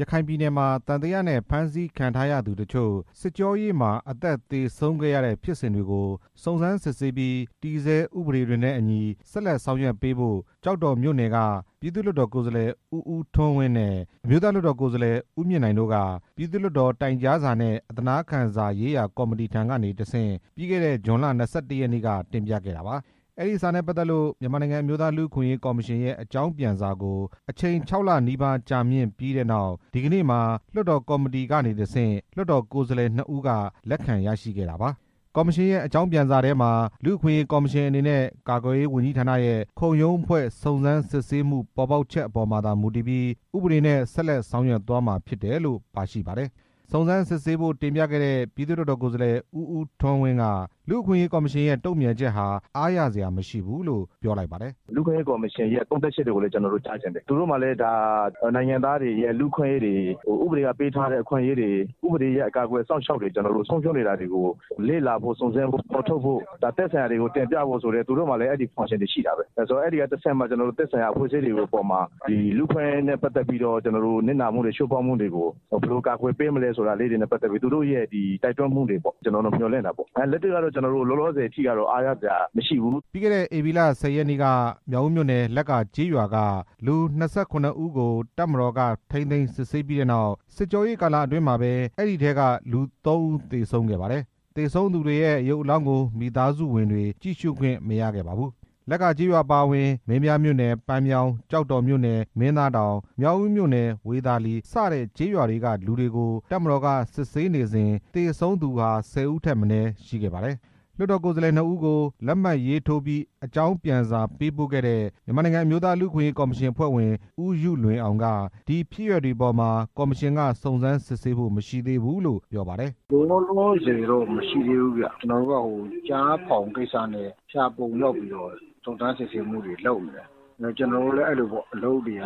ရခိုင်ပြည်နယ်မှာ သံသယနဲ့ ဖမ်းဆီးခံထားရသူတစ်ချို့ စစ်ကြောရေးမှာ အသက်သေဆုံးခဲ့ရတဲ့ ဖြစ်စဉ်တွေကို စုံစမ်းစစ်ဆေးပြီး တည်ဆဲဥပဒေတွေနဲ့အညီ ဆက်လက်ဆောင်ရွက်ပေးဖို့ ကျောက်တော်မြို့နယ်က ပြည်သူ့ လွှတ်တော် ကိုယ်စားလှယ် ဦးဦးထွန်းဝင်းနဲ့ အမျိုးသားလွှတ်တော် ကိုယ်စားလှယ် ဦးမြင့်နိုင်တို့က ပြည်သူ့ လွှတ်တော် တိုင်ကြားစာနဲ့ အသနားခံစာရေးရာကော်မတီထံကနေ တစ်ဆင့် ပြီးခဲ့တဲ့ ဇွန်လ ၂၁ ရက်နေ့က တင်ပြခဲ့တာပါ။ အဲဒီစာနဲ့ပတ်သက်လို့ မြန်မာနိုင်ငံ အမျိုးသားလူ့အခွင့်အရေးကော်မရှင်ရဲ့ အကြောင်းပြန်စာကို အချိန် ခြောက်လနီးပါး ကြာမြင့်ပြီးနောက် ဒီကနေ့မှာ လွှတ်တော်ကော်မတီကနေတစ်ဆင့် လွှတ်တော်ကိုယ်စားလှယ် နှစ်ဦးက လက်ခံရရှိခဲ့တာပါ။ ကော်မရှင်ရဲ့အကြောင်းပြန်စာထဲမှာ လူ့အခွင့်အရေးကော်မရှင်အနေနဲ့ ကာကွယ်ရေးဝန်ကြီးဌာနရဲ့ ခုံရုံးဖွဲ့စုံစမ်း စစ်ဆေးမှုပေါ်ပေါက်ချက်အပေါ်မှာသာ မူတည်ပြီး ဥပဒေနဲ့ဆက်လက် ဆောင်ရွက်သွားမှာ ဖြစ်တယ်လို့ ပါရှိပါတယ်။ စုံစမ်းစစ်ဆေးဖို့တင်ပြခဲ့တဲ့ ပြည်သူ့လွှတ်တော် ကိုယ်စားလှယ် ဦးဦးထွန်းက လူ့အခွင့်အရေးကော်မရှင်ရဲ့ တုံ့ပြန်ချက်ဟာ အားရစရာမရှိဘူးလို့ ပြောလိုက်ပါတယ်။ “ကျွန်တော်တို့ကတော့ ဒီဟာအပေါ်မှာ လူ့အခွင့်အရေးကော်မရှင်ရဲ့သုံး သပ်ချက်တွေကိုလည်း ကျွန်တော်တို့ကြားချင်တယ်။ သူတို့မှာလည်း ဒါနိုင်ငံသားတွေရဲ့လူ့အခွင့်အရေးတွေ၊ ဥပဒေက ပေးထားတဲ့ အခွင့်အရေးတွေ၊ ဥပဒေရဲ့ အကာအကွယ်အစောင့်အရှောက် ဆုံးရှုံးနေတာတွေကို လေ့လာဖို့၊ စုံစမ်းဖို့၊ ဖော်ထုတ်ဖို့၊ သက်ဆိုင်တွေကို တင်ပြဖို့ဆိုတဲ့ သူတို့မှာလည်းအဲဒီလုပ်ပိုင်ခွင့်တွေ ရှိတာပဲ။ အဲဒီကနေတစ်ဆင့် သက်ဆိုင်ရာအဖွဲ့အစည်းတွေအပေါ်မှာ လူ့အခွင့်အရေးနဲ့ပတ်သက်ပြီးတော့ နစ်နာမှုတွေ၊ ချိုးဖောက်မှုတွေကို ဘယ်လိုကာကွယ်ပေးမလဲဆိုတာတွေနဲ့ပတ်သက်ပြီး သူတို့ရဲ့ တိုက်တွန်းမှုလေးတွေပေါ့။ အဲဒါလေးတွေကိုတော့ မျှော်လင့်တာပေါ့။ လက်တွေ့ကတော့ လောလောဆယ်အထိကတော့ အားရစရာမရှိဘူး” ပြီးခဲ့တဲ့ ဧပြီလ ၁၀ ရက်နေ့က မြောက်ဦးမြို့နယ် လက္ကာကျေးရွာက လူ ၂၇ ဦးကို တပ်မတော်က ထိန်းသိမ်း စစ်ဆေးပြီးနောက် စစ်ကြောရေးကာလအတွင်းမှာပဲ အဲဒီအထဲက လူ သုံးဦး သေဆုံးခဲ့ ပါတယ်။ သေဆုံးသူတွေ ရဲ့ ရုပ်အလောင်းကို မိသားစုတွေ ကြည့်ရှုခွင့်မရခဲ့ပါဘူး။ လက္ကာကျေးရွာအပါအဝင် မင်းပြားမြို့နယ် ပန်းမြောင်း၊ ကျောက်တော်မြို့နယ် မင်းသားတောင်၊ မြောက်ဦးမြို့ နယ် ဝေသာလီ စတဲ့ကျေးရွာတွေကလူတွေကို တပ်မတော်က စစ်ဆေးနေစဉ် သေဆုံးသူဟာ ၁၀ ဦးထက် မနည်းရှိခဲ့ပါတယ်။ လွှတ်တော်ကိုယ်စားလှယ် နှစ်ဦးကို လက်မှတ်ရေးထိုးပြီး အကြောင်းပြန်စာပေးပို့ခဲ့တဲ့ မြန်မာနိုင်ငံ အမျိုးသား လူ့အခွင့်အရေးကော်မရှင် အဖွဲ့ဝင် ဦးယုလွင်အောင် က ဒီဖြစ်ရပ်တွေအပေါ်မှာ ကော်မရှင်က စုံစမ်းစစ်ဆေးဖို့ မရှိသေးဘူးလို့ ပြောပါတယ်။ “လောလောဆယ်တော့ မရှိသေးဘူးဗျ။ ကျနော်တို့က ကျားဖောင် ကိစ္စနဲ့ ဖျာပုံကိုရောက်နေပြီး စုံစမ်းစစ်ဆေးမှုတွေကို လုပ်နေတာ။ ကျွန်တော်တို့မှာလည်း အလုပ်တွေက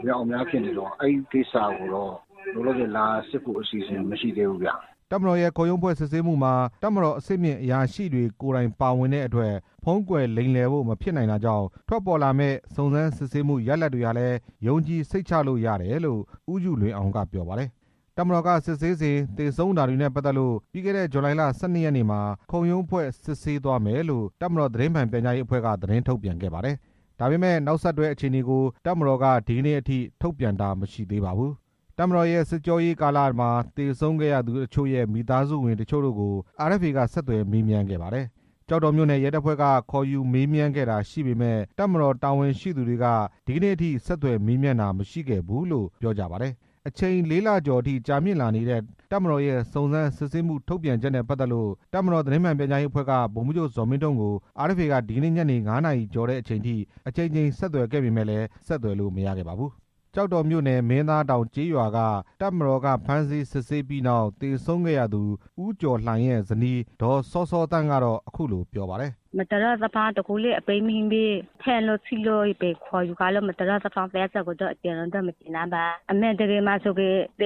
အမြောက်အမြား ဖြစ်နေတော့ အဲဒီကိစ္စကိုတော့ လောလောဆယ် လာစစ်ဖို့ အစီအစဉ်မရှိသေးဘူးဗျ” တပ်မတော်ရဲ့ ခုံရုံးဖွဲ့စုံစမ်းစစ်ဆေးမှုမှာ တပ်မတော်အဆင့်မြင့် အရာရှိတွေ ကိုယ်တိုင် ပါဝင်တဲ့အတွက် ဖုံးကွယ်လိမ်လည်ဖို့ မဖြစ်နိုင်တာကြောင့် ထွက်ပေါ်လာမယ့် စုံစမ်းစစ်ဆေးမှု ရလဒ်တွေ ဟာလည်း ယုံကြည်စိတ်ချလို့ရတယ်လို့ ဦးယုလွင်အောင်က ပြောပါတယ်။ တပ်မတော်ကစစ်ဆေးစဉ် သေဆုံးတာတွေနဲ့ပတ်သက်လို့ ပြီးခဲ့တဲ့ ဇူလိုင်လ ၁၂ ရက်နေ့မှာ ခုံရုံးဖွဲ့ စုံစမ်းစစ်ဆေး သွားမယ်လို့ တပ်မတော်သတင်းမှန်ပြန်ကြားရေးအဖွဲ့က သတင်းထုတ်ပြန်ခဲ့ပါတယ်။ ဒါပေမဲ့ နောက်ဆက်တွဲ အခြေအနေကို တပ်မတော်က ဒီနေ့အထိ ထုတ်ပြန်တာ မရှိသေးပါဘူး။ တပ်မတော်ရဲ့စစ်ကြောရေးကာလမှာ သေဆုံးခဲ့ရသူအချို့ရဲ့ မိသားစုဝင်အချို့ကို RFA က ဆက်သွယ် မေးမြန်းခဲ့ပါတယ်။ သေဆုံးသူအချို့ရဲ့မိသားစုက သူတို့ကို ကျောက်တော်မြို့နယ် ရဲတပ်ဖွဲ့က ခေါ်ယူမေးမြန်းခဲ့တာ ရှိပေမယ့် တပ်မတော်တာဝန်ရှိသူတွေက ဒီနေ့အထိ ဆက်သွယ်မေးမြန်းတာမရှိခဲ့ဘူးလို့ ပြောကြပါတယ်။ အချိန် လေးလကျော်အထိကြာမြင့်လာနေတဲ့ တပ်မတော်ရဲ့ စုံစမ်းစစ်ဆေးမှု ထုတ်ပြန်ချက်နဲ့ပတ်သက်လို့ တပ်မတော်သတင်းမှန်ပြန်ကြားရေးအဖွဲ့က ဗိုလ်မှူးချုပ် ဇော်မင်းထွန်းကို RFA က ဒီနေ့ညနေ ငါးနာရီကျော် အချိန်အထိ အကြိမ်ကြိမ်ဆက်သွယ်ခဲ့ပေမယ့် ဆက်သွယ်လို့မရခဲ့ပါဘူး။ ကျောက်တော်မြို့နယ် မင်းသားတောင်ကျေးရွာက တပ်မတော်က ဖမ်းဆီးစစ်ဆေးပြီးနောက် သေဆုံးခဲ့ရသူ ဦးကျော်လှိုင်ရဲ့ဇနီး ဒေါ်စောစောသန်းကတော့ အခုလိုပြောပါတယ်။ ကျမတို့အနေနဲ့ ပြောခွင့်ဆိုခွင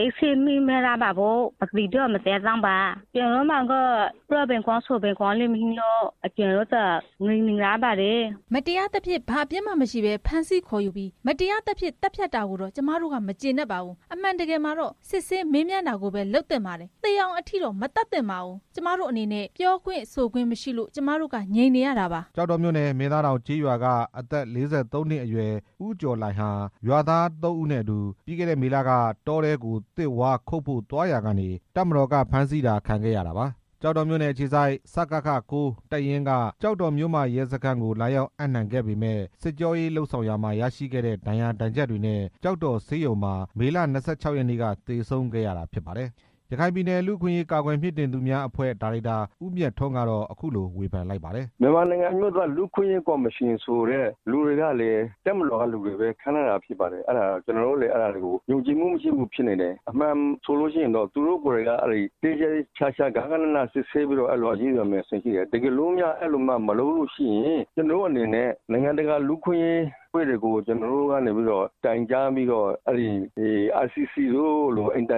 ့်မရှိလို့ ကျမတို့က ငြိမ်နေရပါတယ် "မတရားသဖြင့် ဘာမှအပြစ်မရှိဘဲ ဖမ်းဆီးခေါ်ယူပြီး မတရားသဖြင့် သတ်ဖြတ်ခံရတာကိုတော့ ကျမတို့က မကျေနပ်ပါဘူး။ အမှန်တကယ်မှာတော့ စစ်ဆေးမေးမြန်း တာကိုပဲ လုပ်သင့်ပါတယ်။ သေအောင်အထိ မသတ်သင့်ပါဘူး။ ကျမတို့အနေနဲ့ ပြောခွင့်ဆိုခွင့်မရှိလို့ ကျမတို့က ငြိမ်နေရပါတယ်” ကျောက်တော်မြို့နယ် မင်းသားတောင်ကျေးရွာက အသက် ၄၃ နှစ်အရွယ် ဦးကျော်လှိုင်ဟာ ရွာသား သုံးဦးနဲ့အတူ ပြီးခဲ့တဲ့မေလက တောထဲကို သစ်ဝါးခုတ်ဖို့သွားရာကနေ တပ်မတော်ကဖမ်းဆီးခံခဲ့ရတာပါ။ ကျောက်တော်မြို့နယ်အခြေစိုက် စကခ(၉)တပ်ရင်းက ကျောက်တော် မြို့မရဲစခန်းကို လာရောက် အပ်နှံ ခဲ့ပေမယ့် စစ်ကြောရေးလုပ်ဆောင်ရာမှာ ရရှိခဲ့တဲ့ ဒဏ်ရာဒဏ်ချက်တွေနဲ့ ကျောက်တော် ဆေးရုံမှာ မေလ ၂၆ ရက်နေ့က သေဆုံးခဲ့တာဖြစ်ပါတယ်။ ရခိုင်ပြည်နယ် လူ့အခွင့်အရေးကာကွယ်မြှင့်တင်သူများအဖွဲ့ ဒါရိုက်တာ ဦးမြတ်ထွန်းကတော့ အခုလို ဝေဖန်ပါတယ်။ “မြန်မာနိုင်ငံ အမျိုးသားလူ့အခွင့်အရေးကော်မရှင်ကလူတွေကလည်း တပ်မတော်ကလူတွေကိုပဲ ခန့်ထားတာဖြစ်ပါတယ်။ ကျနော် တို့လည်း အဲဒါကြောင့် ယုံကြည်မှုမရှိဘူးဖြစ်နေပါတယ်။ အမှန်ဆိုလို့ရှိရင်တော့ သူတို့ကိုယ်တိုင်က သေသေချာချာ ဂဃနဏ စစ်ဆေးပြီးတော့ အရေးယူရမှာဖြစ်ပါတယ်။ တကယ်လို့များ အဲဒီလိုမှမလုပ်လို့ရှိရင် ကျွန်တော်တို့အနေနဲ့ နိုင်ငံတကာ လူ့အခွင့်အရေးအဖွဲ့တွေကို တိုင်ကြားပြီးတော့ နိုင်ငံတကာ ရာဇဝတ်တရားရုံးတို့မှာ တ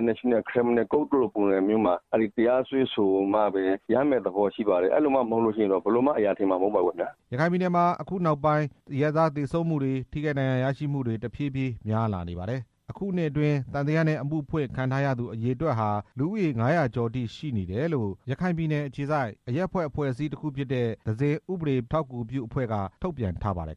ရားစွဲဆိုမှပဲ ရမယ့်သဘောရှိပါတယ်။ အဲလိုမှမဟုတ်ရင် ဘယ်လိုမှ အရာထင်မှာမဟုတ်ပါဘူး” ရခိုင်ပြည်နယ်မှာ အခုနောက်ပိုင်း အရပ်သားသေဆုံးမှုတွေ၊ ထိခိုက်ဒဏ်ရာရမှုတွေ တဖြည်းဖြည်း များလာနေပါတယ်။ အခုနှစ်အတွင်း သံသယနဲ့အမှုဖွင့်ခံရသူအရေအတွက်ဟာ လူဦးရေ ၅၀၀ ကျော်အထိ ရှိတယ်လို့ ရခိုင်ပြည်နယ် အခြေစိုက် သဇင်ဥပဒေအထောက်အကူပြုအဖွဲ့က ထုတ်ပြန်ထားပါတယ်